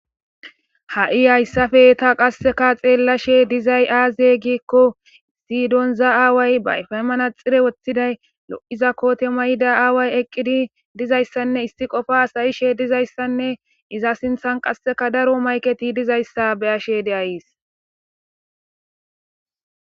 ha7i hayssafeeta qasseka xeella she dizay aaziye giikko sidonza aaway bayfaymanaxire woththiday lo7iza koote mayda aaway eqqidi dizayssanne isti qofa asayishe dizayssanne iza sinthan qasseka daro mayketi dizayssa beyashe de ayis